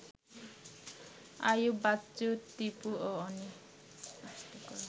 আইয়ুব বাচ্চু, টিপু ও অনি